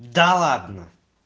да ладно